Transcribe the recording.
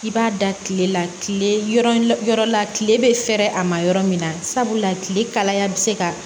I b'a da tile la tile yɔrɔ la tile bɛ fɛɛrɛ a ma yɔrɔ min na sabula tile kalaya bɛ se ka